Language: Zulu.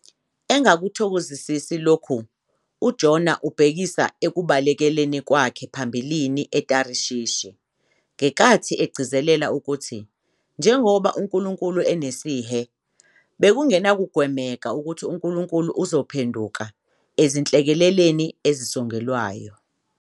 Engakuthokozisi lokhu, uJona ubhekisa ekubalekeleni kwakhe phambilini eTharishishi ngenkathi egcizelela ukuthi, njengoba uNkulunkulu enesihe, bekungenakugwemeka ukuthi uNkulunkulu uzophenduka ezinhlekeleleni ezisongelwayo.